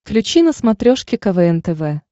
включи на смотрешке квн тв